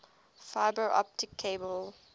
fiber optic cable